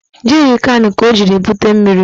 Jerịkanụ ka o jiri bute mmiri